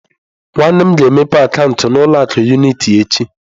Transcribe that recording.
Nwannem ga-emepe akaụntụ na ụlọ akụ unịtị echi.